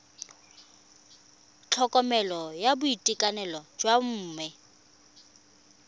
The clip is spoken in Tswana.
tlhokomelo ya boitekanelo jwa bomme